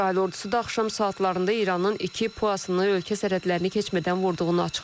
İsrail ordusu da axşam saatlarında İranın iki PUA-sını ölkə sərhədlərini keçmədən vurduğunu açıqlayıb.